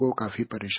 "